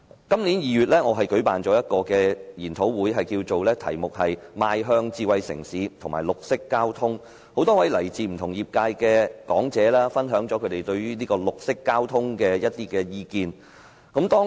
今年2月，我舉辦了一個研討會，題目是"邁向智慧城市與綠色交通"，多位來自不同業界的講者分享了他們對於綠色交通的意見。